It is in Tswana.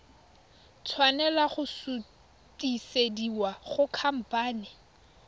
tshwanela go sutisediwa go khamphane